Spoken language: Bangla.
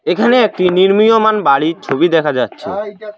এখানে একটি নির্মীয়মান বাড়ির ছবি দেখা যাচ্ছে।